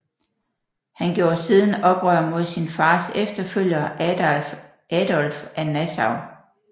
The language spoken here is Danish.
Han gjorde siden oprør mod sin fars efterfølger Adolf af Nassau